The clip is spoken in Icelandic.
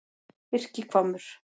Birkihvammur